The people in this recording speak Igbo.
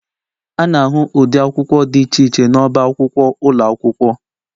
A na-ahụ ụdị akwụkwọ dị iche iche n'ọba akwụkwọ ụlọ akwụkwọ